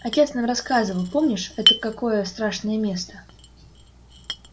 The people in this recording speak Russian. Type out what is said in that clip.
отец нам рассказывал помнишь это какое страшное место